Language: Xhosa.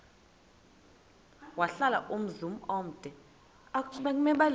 wahlala umzum omde